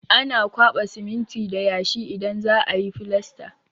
Ana kwaɓa siminti da yashi idan za a yi filasta.